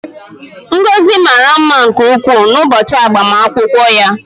Ngozi mara mma nke ukwuu n'ụbọchị agbamakwụkwọ ya